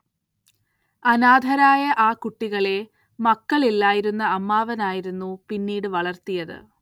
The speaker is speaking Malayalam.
അനാഥരായ ആ കുട്ടികളെ മക്കളില്ലായിരുന്ന അമ്മാവനായിരുന്നു പിന്നീട്‌ വളർത്തിയത്‌.